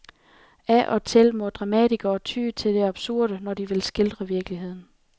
Af og til må dramatikere ty til det absurde, når de vil skildre virkeligheden.